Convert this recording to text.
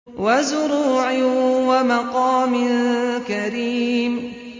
وَزُرُوعٍ وَمَقَامٍ كَرِيمٍ